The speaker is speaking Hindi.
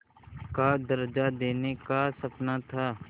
का दर्ज़ा देने का सपना था